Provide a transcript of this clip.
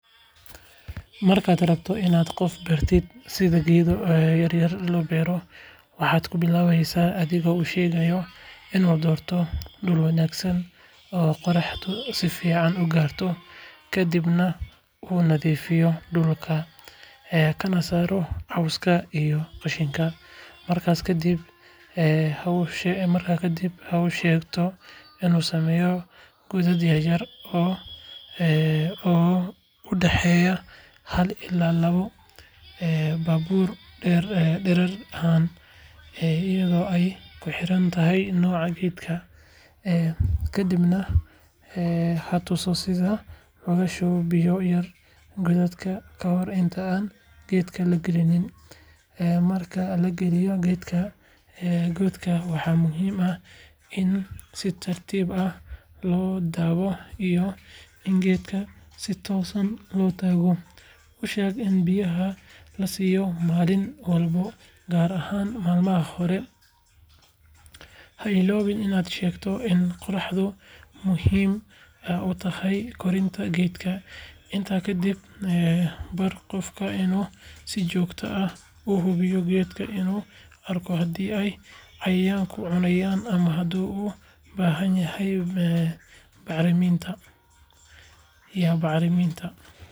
Markaad rabto inaad qof bartid sida geedo yaryar loo beero, waxaad ku bilaabaysaa adigoo u sheegaya inuu doorto dhul wanaagsan oo qoraxdu si fiican u gaarto, kadibna uu nadiifiyo dhulka kana saaro cawska iyo qashinka. Markaas kadib, ha u sheegto inuu sameeyo godad yar yar oo u dhexeeya hal ilaa laba baabuur dherer ahaan, iyadoo ay ku xirantahay nooca geedka. Ka dibna ha tuso sida loogu shubo biyo yar godadka kahor inta aan geedka la gelin. Marka la geliyo geedka godka, waxaa muhiim ah in si tartiib ah loo dabo iyo in geedka si toosan loo taago. U sheeg in biyaha la siiyo maalin walba, gaar ahaan maalmaha hore. Ha illoobin inaad sheegto in qorraxdu muhiim u tahay koritaanka geedka. Intaa kadib, bar qofka inuu si joogto ah u hubiyo geedka si uu u arko haddii ay cayayaanku cunayaan ama haddii uu u baahan yahay bacriminta.